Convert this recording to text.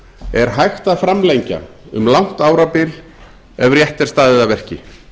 er hægt að framlengja um langt árabil ef rétt er staðið að verki